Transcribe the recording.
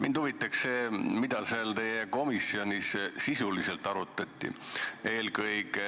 Mind huvitab see, mida seal teie komisjonis sisuliselt arutati.